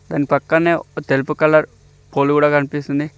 దాని పక్కన్నె ఒక తెలుపు కలర్ పోల్ కూడా కనిపిస్తుంది.